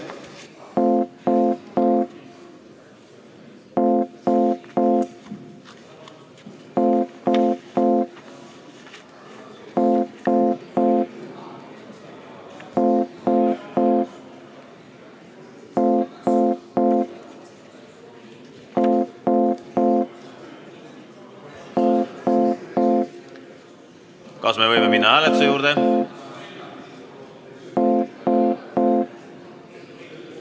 Kas me võime minna hääletuse juurde?